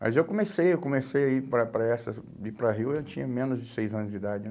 Mas eu comecei, eu comecei a ir para para essa, ir para rio, eu tinha menos de seis anos de idade, né?